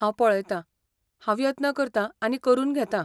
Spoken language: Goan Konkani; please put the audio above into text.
हांव पळयतां, हांव यत्न करतां आनी करून घेतां.